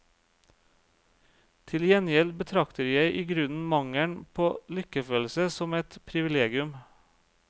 Til gjengjeld betrakter jeg i grunnen mangelen på lykkefølelse som et privilegium.